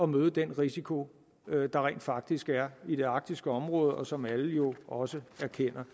møde den risiko der rent faktisk er i det arktiske område og som alle jo også erkender